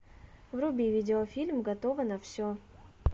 вруби видеофильм готова на все